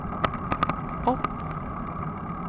opp